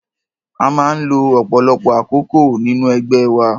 A máa ń lo ọ̀pọ̀lọpọ̀ àkókol nínú ẹgbẹ́ wa.